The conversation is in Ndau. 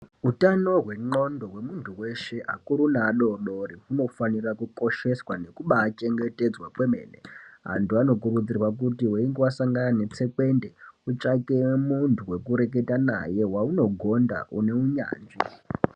Utano hwendxondo hwemuntu weshe akuru neadodori hunofanira kukosheswa nekubaachengetedzwa kwemene antu anokurudzirwa weinga wasangane netsekwende utsvake muntu wekureketa naye waunogonda une unyanzvi.